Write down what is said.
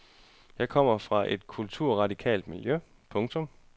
Jeg kommer fra et kulturradikalt miljø. punktum